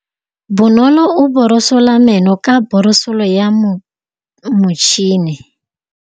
Bonolô o borosola meno ka borosolo ya motšhine.